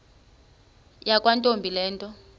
yakwantombi le nto